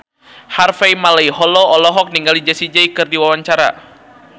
Harvey Malaiholo olohok ningali Jessie J keur diwawancara